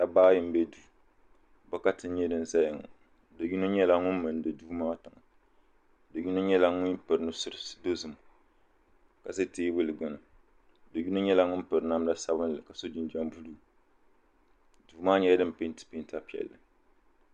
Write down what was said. Dabba ayi m be duu bokati n nyɛ di zaya ŋɔ bɛ yino nyɛla ŋun mindi duu maa tiŋa bɛ yino nyɛla ŋun nusuri dozim ka za teebuli gbini bɛ yino nyɛla ŋun piri namda sabinli ni jinjiɛm buluu duu maa nyɛla din penti penta piɛlli.